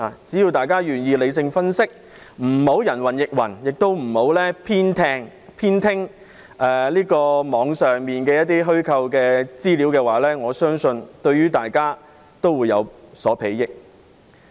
只要大家願意理性分析，不要人云亦云，也不要偏聽網上的虛構資料，我相信對大家也會有所裨益。